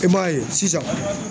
I m'a ye sisan.